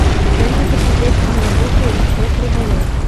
дай мне посмотреть киноработу кот рыболов